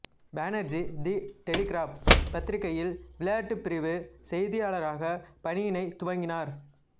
Banerjee the Telegraph பத்திரிகையில் விளையாட்டுப்பிரிவு செய்தியாளராக பணியினைத் துவங்கினார்